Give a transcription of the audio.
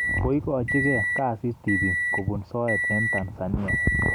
Koikachigei kasi tibik kobun soet eng Tanzania